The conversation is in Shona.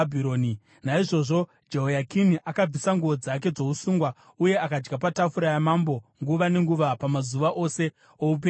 Naizvozvo Jehoyakini akabvisa nguo dzake dzousungwa uye akadya patafura yamambo nguva nenguva pamazuva ose oupenyu hwake.